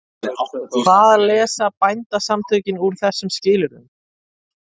Hvað lesa Bændasamtökin úr þessum skilyrðum?